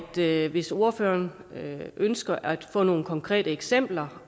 det hvis ordføreren ønsker at få nogle konkrete eksempler